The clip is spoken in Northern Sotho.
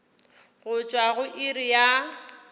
go tšwa go iri ya